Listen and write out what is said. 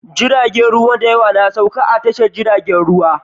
Jiragen ruwa dayawa na sauka a tashar jirgin ruwa